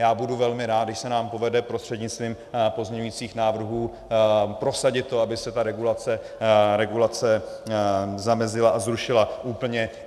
Já budu velmi rád, když se nám povede prostřednictvím pozměňujících návrhů prosadit to, aby se ta regulace zamezila a zrušila úplně.